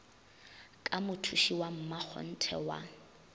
ka mothuši wa mmakgonthe wa